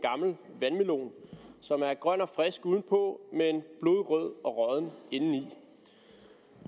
gammel vandmelon som er grøn og frisk udenpå men blodrød og rådden indeni